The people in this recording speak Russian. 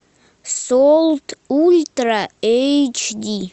солт ультра эйч ди